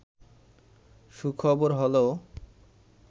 সুখবর হলেও